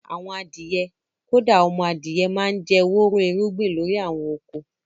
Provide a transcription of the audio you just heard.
Àwọn adìyẹ, kódà ọmọ adìyẹ máa ń jẹ́ wóró irúgbìn lórí àwọn oko